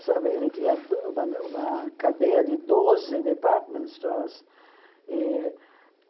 Sabe ele tinha do uma uma cadeia de doze department stores. E